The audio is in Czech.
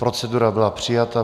Procedura byla přijata.